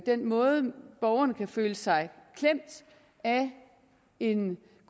den måde borgerne kan føle sig klemt af en